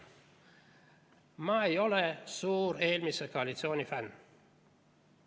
Ma ei ole suur eelmise koalitsiooni fänn.